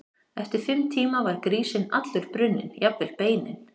Eftir fimm tíma var grísinn allur brunninn, jafnvel beinin.